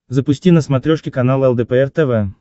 запусти на смотрешке канал лдпр тв